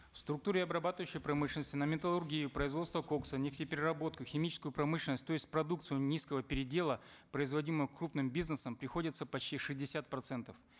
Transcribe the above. в структуре обрабатывающей промышленности на металлургию производство кокса нефтепереработку химическую промышленность то есть продукцию низкого передела производимую крупным бизнесом приходится почти шестьдесят процентов